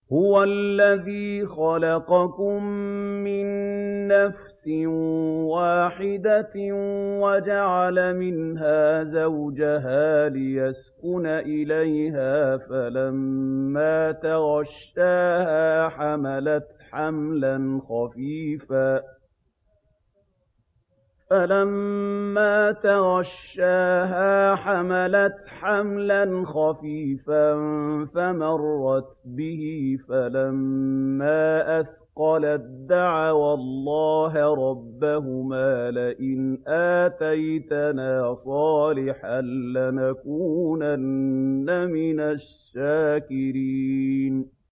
۞ هُوَ الَّذِي خَلَقَكُم مِّن نَّفْسٍ وَاحِدَةٍ وَجَعَلَ مِنْهَا زَوْجَهَا لِيَسْكُنَ إِلَيْهَا ۖ فَلَمَّا تَغَشَّاهَا حَمَلَتْ حَمْلًا خَفِيفًا فَمَرَّتْ بِهِ ۖ فَلَمَّا أَثْقَلَت دَّعَوَا اللَّهَ رَبَّهُمَا لَئِنْ آتَيْتَنَا صَالِحًا لَّنَكُونَنَّ مِنَ الشَّاكِرِينَ